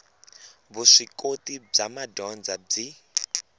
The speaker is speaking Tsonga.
vuswikoti bya madyondza byi